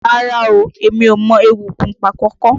Rárá o, mi ò mọ egúngún Pákọ̀kọ̀.